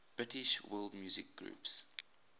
british world music groups